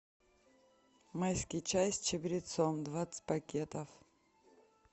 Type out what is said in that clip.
майский чай с чабрецом двадцать пакетов